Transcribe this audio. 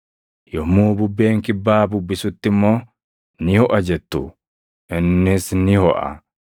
Yommuu bubbeen kibbaa bubbisutti immoo, ‘Ni hoʼa’ jettu; innis ni hoʼa.